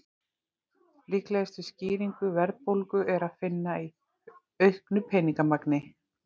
Líklegustu skýringu verðbólgu er að finna í auknu peningamagni.